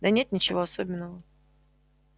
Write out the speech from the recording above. да нет ничего особенного